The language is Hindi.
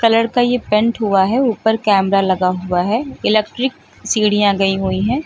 कलर का ये पेंट हुआ है ऊपर कैमरा लगा हुआ है इलेक्ट्रिक सीढ़ियां गयी हुई हैं।